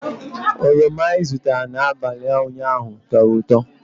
Oroma i zụtara n'abalị ụnyaahụ tọrọ ụtọ